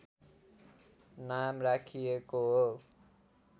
नाम राखिएको हो